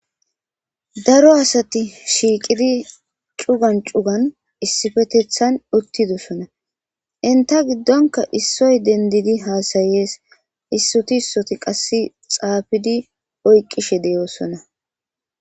daro asati shiiqidi cugan cugan issifetethan uttidosona inta giddonka issoy dendidi haasayees issoti ssoti qass xaafidi oyqqishe deyoosona